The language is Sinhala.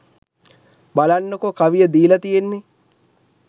බලන්නකෝ කවිය දීලා තියෙන්නේ